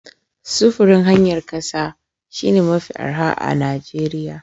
Sufurin hanyar ƙasa shine mafi arha a Najeriya.